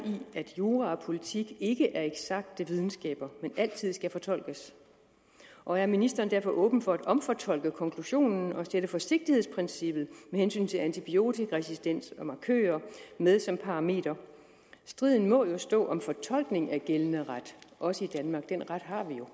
at jura og politik ikke er eksakte videnskaber men altid skal fortolkes og er ministeren derfor åben for at omfortolke konklusionen og tage forsigtighedsprincippet med hensyn til antibiotikaresistens og markører med som parameter striden må jo stå om fortolkning af gældende ret også i danmark den ret